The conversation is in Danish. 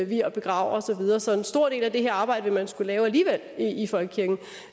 vier og begraver og så videre så en stor del af det her arbejde vil man skulle lave alligevel i i folkekirken